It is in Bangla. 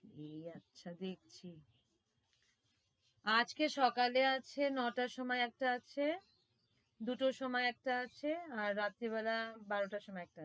bhediya আচ্ছা দেখছি, আজকে সকালে আছে নয় টার সময় একটা আছে দুটোর সময় একটা আছে আর রাত্রিবেলা বারো টার সময় একটা আছে